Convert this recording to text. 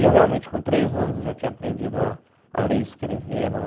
E eu realmente, com três anos, já tinha aprendido a a ler e escrever. Ela